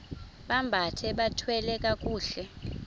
bambathe bathwale kakuhle